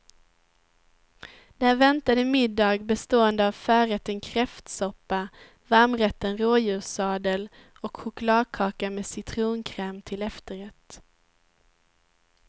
Där väntade middag bestående av förrätten kräftsoppa, varmrätten rådjurssadel och chokladkaka med citronkräm till efterrätt.